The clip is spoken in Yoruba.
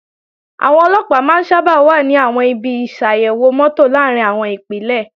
Àwọn Ọlọ́pàá máa ń sábà wà ní àwọn ibi ìṣàyèwò mọ́tò làárín àwọn Ìpínlẹ̀